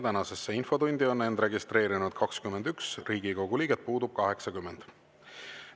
Tänasesse infotundi on end registreerinud 21 Riigikogu liiget, puudub 80.